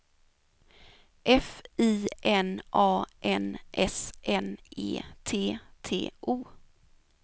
F I N A N S N E T T O